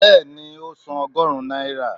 beeni, o sán ogorun naira.